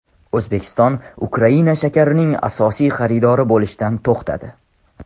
O‘zbekiston Ukraina shakarining asosiy xaridori bo‘lishdan to‘xtadi.